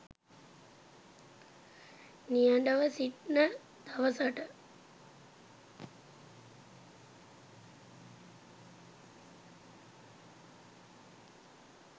නිහඬව සිටින දවසට